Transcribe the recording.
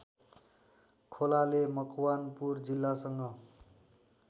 खोलाले मकवानपुर जिल्लासँग